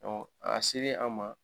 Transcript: a selen an ma.